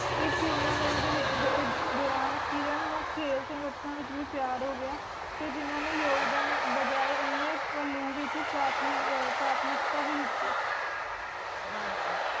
ਇਕ Tournament ਦੇ ਵਿਚ ਦੌਰਾਨ ਕਿਰਣ ਨੂੰ ਖੇਲ ਸੰਗਠਨਾਂ ਵਿਚ ਵੀ ਪਿਆਰ ਹੋ ਗਯਾ ਤੇ ਜਿਨ੍ਹਾਂ ਨੇ ਯੋਗਦਾਨ ਬਜਾਏ ਅਨ੍ਯ ਵਿਚ ਪ੍ਰਾਥਮਿਕ ਪ੍ਰਾਥਮਿਕਤਾ ਵੀ ਦਿੱਤੀ